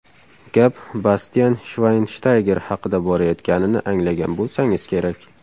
Gap Bastian Shvaynshtayger haqida borayotganini anglagan bo‘lsangiz kerak.